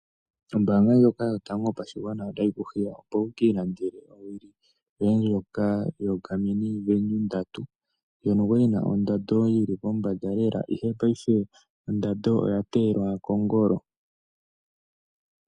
Ombaanga nyoka yotango yopashigwana otayi kuhiya opo wuki ilandele owili yoye ndjoka yoGarmini Venu 3 ndjono kwali yili pombanda lela ihe paife ondando oya teyelwa kongolo.